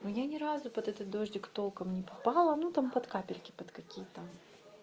но я ни разу под этот дождик толком не попала ну там под капельки под какие там